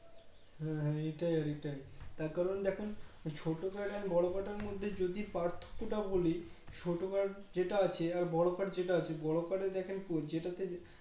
হ্যাঁ হ্যাঁ এটাই এটাই তার কারণ দেখুন ছোটো Card আর বড়ো Card এর মধ্যে যদি পার্থক্যটা বলি ছোটো Card যেটা আছে আর বড়ো Card যেটা আছে বড়ো Card এ দেখেন যেটাতে